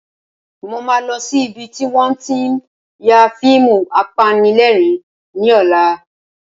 Mo máa lọ sí ibi tí wọ́n tí ń ya fíìmù apanilẹ́rìn-ín ní ọ̀la